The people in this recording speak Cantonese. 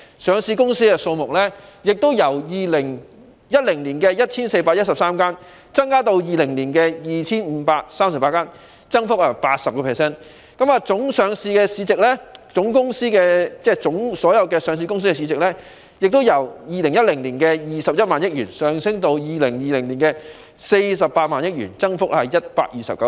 上市公司的數目亦由2010年的 1,413 間增至2020年的 2,538 間，增幅為 80%； 上市公司的總市值亦由2010年的21萬億元升至2020年的48萬億元，增幅為 129%。